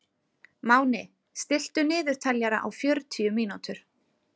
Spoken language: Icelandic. Máni, stilltu niðurteljara á fjörutíu mínútur.